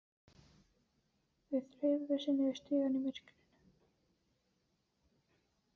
Þau þreifuðu sig niður stigann í myrkrinu.